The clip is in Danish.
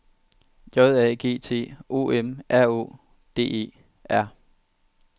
J A G T O M R Å D E R